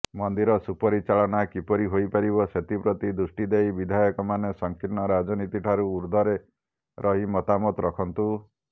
ମନ୍ଦିର ସୁପରିଚାଳନା କିପରି ହୋଇପାରିବ ସେଥିପ୍ରତି ଦୃଷ୍ଟି ଦେଇ ବିଧାୟକମାନେ ସଂକୀର୍ଣ୍ଣ ରାଜନୀତିଠାରୁ ଉର୍ଦ୍ଧ୍ୱରେ ରହି ମତାମତ ରଖନ୍ତୁ